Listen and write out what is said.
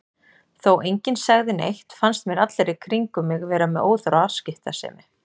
Þó enginn segði neitt fannst mér allir í kringum mig vera með óþarfa afskiptasemi.